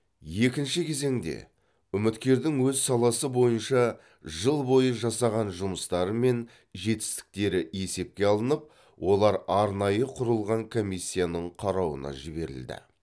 екінші кезеңде үміткердің өз саласы бойынша жыл бойы жасаған жұмыстары мен жетістіктері есепке алынып олар арнайы құрылған комиссияның қарауына жіберілді